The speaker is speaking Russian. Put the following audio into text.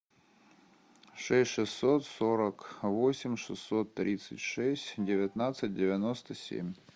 шесть шестьсот сорок восемь шестьсот тридцать шесть девятнадцать девяносто семь